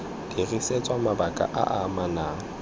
dirisetswa mabaka a a amanang